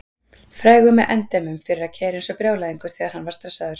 Frægur að endemum fyrir að keyra eins og brjálæðingur þegar hann var stressaður.